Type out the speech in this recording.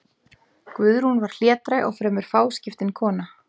Guðrún var hlédræg og fremur fáskiptin kona.